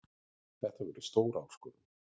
Þetta verður stór áskorun.